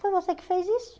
Foi você que fez isso.